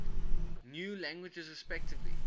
new languages relatively